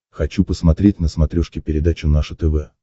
хочу посмотреть на смотрешке передачу наше тв